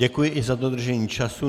Děkuji i za dodržení času.